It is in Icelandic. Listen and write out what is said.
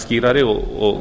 skýrari og